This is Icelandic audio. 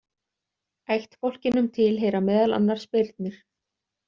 Ættbálkinum tilheyra meðal annars birnir.